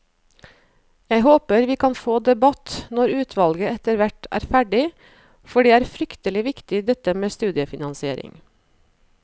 Jeg håper vi kan få debatt når utvalget etterhvert er ferdig, for det er fryktelig viktig dette med studiefinansiering.